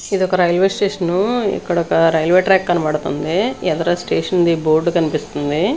ఇది ఒక railway station ఇక్కడ ఒక రైల్వే ట్రాక్ కనబడుతుంది ఎదర స్టేషన్ ది బోర్డు కనిపిస్తుంది.